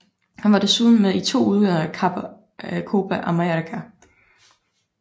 Han var desuden med i to udgaver af Copa América